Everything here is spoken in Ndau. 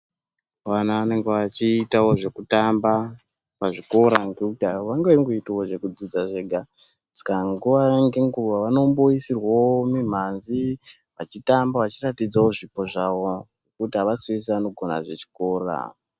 Vana vanenge vachiitawo zvekutamba pazvikora ngokuti havangangoitawo zvekudzidza zvega. Saka nguva ngenguva vanomboisirwawo mimhanzi vachitamba vahiratidzawo zvipo zvavo. Nekuti havasi vese vanogona zvechikora.